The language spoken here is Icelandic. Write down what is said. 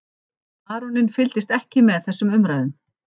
Baróninn fylgdist ekki með þessum umræðum.